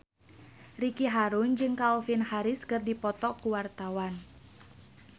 Ricky Harun jeung Calvin Harris keur dipoto ku wartawan